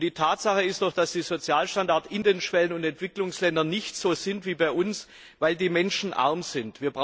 Es ist doch eine Tatsache, dass die Sozialstandards in den Schwellen und Entwicklungsländern nicht so sind wie bei uns, weil die Menschen arm sind.